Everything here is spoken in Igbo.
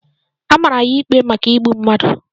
A mara ya ikpe maka igbu mmadu